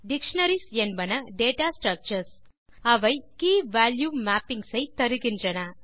dictionaries என்பன data structures அவை key value mappings ஐ தருகின்றன